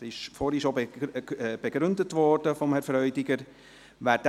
Dieser wurde vorhin schon von Herrn Freudiger begründet.